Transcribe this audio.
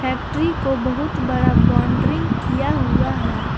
Factory को बहुत बड़ा बोनडरिंग किया हुआ है।